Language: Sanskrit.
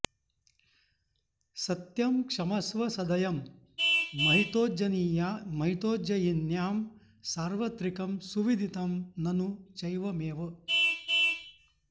सत्यं क्षमस्व सदयं महितोज्जयिन्यां सार्वत्रिकं सुविदितं ननु चैवमेव